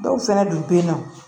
Dɔw fɛnɛ dun be yen nɔ